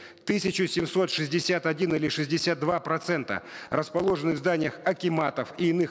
тысяча семьсот шестьдесят один или шестьдесят два процента расположены в зданиях акиматов и иных